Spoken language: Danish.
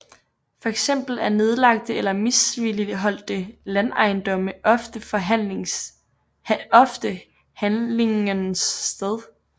Fx er nedlagte eller misligholdte landejendomme ofte handlingens sted